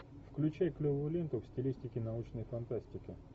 включай клевую ленту в стилистике научной фантастики